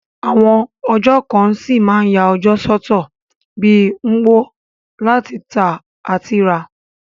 Àwon ọjà kan ṣí ma n ya ọjọ́ sọ́tọ̀ bi Nkwo, láti tà àti rà